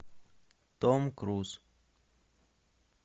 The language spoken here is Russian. том круз